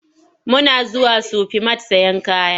Muna zuwa Sufi mat sayen kaya.